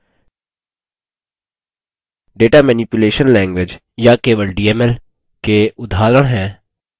data manipulation language या केवल dml के उदाहरण हैं: